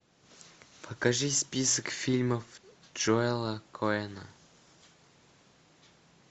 покажи список фильмов джоэла коэна